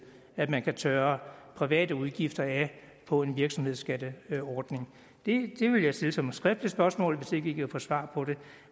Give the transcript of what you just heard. at man kan tørre private udgifter af på en virksomhedsskatteordning det vil jeg stille som et skriftligt spørgsmål hvis ikke vi kan få svar på det